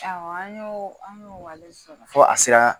Awɔ an y'o an y'o o wale sɔrɔ fo a sera